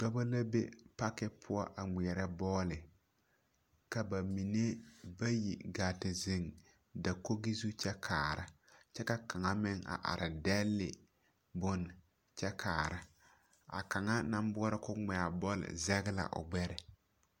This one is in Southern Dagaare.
Dͻbͻ na be paki poͻ a ŋmeԑrԑ bͻle. Ka ba mine bayi gaa te zeŋe dakogi zu kyԑ kaara, ka kaŋa meŋ a are dԑle bone kyԑ kaara. A kaŋa naŋ boͻrͻ ka o ŋmԑ a bͻle zeŋe la o gbԑre.